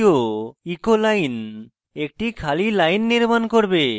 দ্বিতীয় echo line একটি খালি line নির্মান করবে